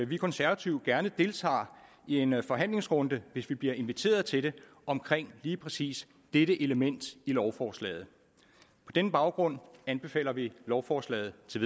vi konservative gerne deltager i en en forhandlingsrunde hvis vi bliver inviteret til det omkring lige præcis dette element i lovforslaget på den baggrund anbefaler vi lovforslaget til